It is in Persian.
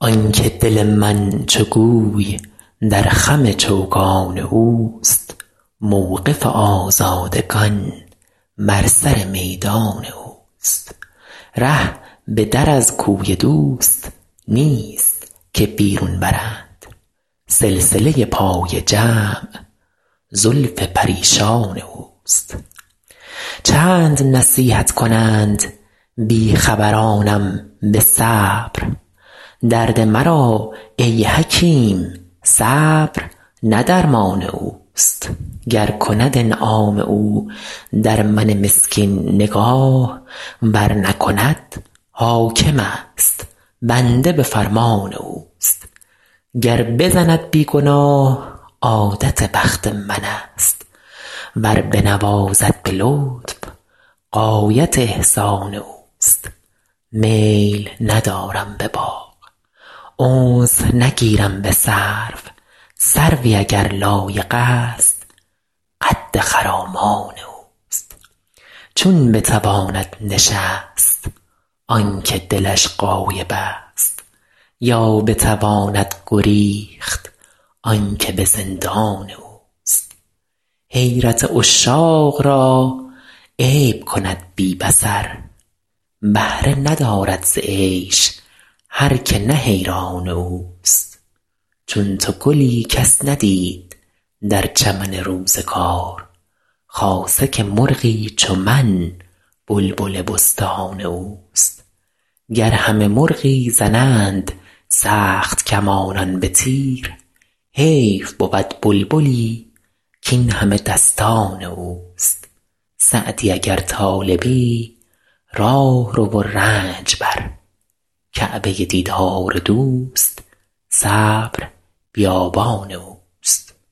آن که دل من چو گوی در خم چوگان اوست موقف آزادگان بر سر میدان اوست ره به در از کوی دوست نیست که بیرون برند سلسله پای جمع زلف پریشان اوست چند نصیحت کنند بی خبرانم به صبر درد مرا ای حکیم صبر نه درمان اوست گر کند انعام او در من مسکین نگاه ور نکند حاکمست بنده به فرمان اوست گر بزند بی گناه عادت بخت منست ور بنوازد به لطف غایت احسان اوست میل ندارم به باغ انس نگیرم به سرو سروی اگر لایقست قد خرامان اوست چون بتواند نشست آن که دلش غایبست یا بتواند گریخت آن که به زندان اوست حیرت عشاق را عیب کند بی بصر بهره ندارد ز عیش هر که نه حیران اوست چون تو گلی کس ندید در چمن روزگار خاصه که مرغی چو من بلبل بستان اوست گر همه مرغی زنند سخت کمانان به تیر حیف بود بلبلی کاین همه دستان اوست سعدی اگر طالبی راه رو و رنج بر کعبه دیدار دوست صبر بیابان اوست